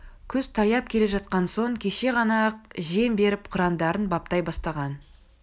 күз таяп келе жатқан соң кеше ғана ақ жем беріп қырандарын баптай бастаған